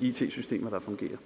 it systemer der fungerer